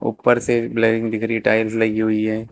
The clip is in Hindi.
ऊपर से दिख रही टाइल्स लगी हुई हैं।